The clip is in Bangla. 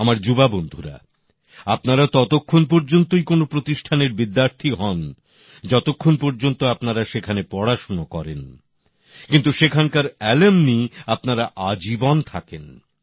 আমার যুবা বন্ধুরা আপনারা ততক্ষণ পর্যন্তই কোন প্রতিষ্ঠানের বিদ্যার্থী হন যতক্ষণ পর্যন্ত আপনারা সেখানে পড়াশোনা করেন কিন্তু সেখানকার প্রাক্তনি আপনারা আজীবন থাকেন